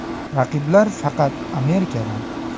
Raqiblar faqat Amerikadan.